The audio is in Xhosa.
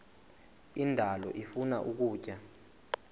indalo ifuna ukutya